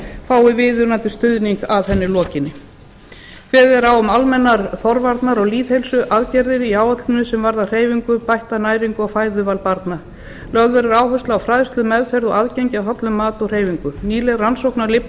fái viðunandi stuðning að henni lokinni kveðið er á um almennar forvarna og lýðheilsuaðgerðir í áætluninni sem varða hreyfingu bætta næringu og fæðuval barna lögð verður áhersla á fræðslu meðferð og aðgengi að hollum á og hreyfingu nýleg rannsókn á